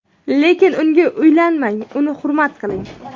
lekin unga uylanmang - uni hurmat qiling.